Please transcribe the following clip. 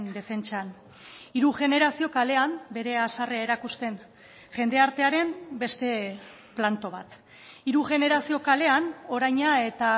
defentsan hiru generazio kalean bere haserrea erakusten jendartearen beste planto bat hiru generazio kalean oraina eta